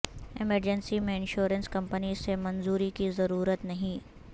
emergency میں insurance company سے منظوری کی ضرورت نہیں